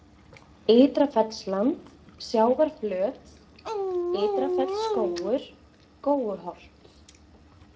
Ytra Fellsland, Sjávarflöt, Ytra-Fellsskógur, Góuholt